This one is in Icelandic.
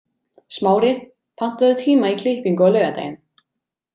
Smári, pantaðu tíma í klippingu á laugardaginn.